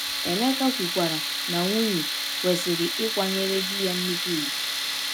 Emeka kwukwara na nwunye “kwesịrị ịkwanyere di ya nnukwu ugwu.”